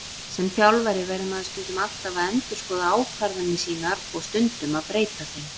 Sem þjálfari verður maður alltaf að endurskoða ákvarðanir sínar og stundum breyta þeim.